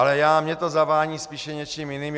Ale mně to zavání spíše něčím jiným.